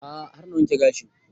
A'a har na wanke gashin